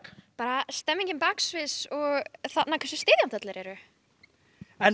bara stemningin baksviðs og hversu styðjandi allir eru